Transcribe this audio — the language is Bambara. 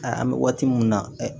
A an bɛ waati min na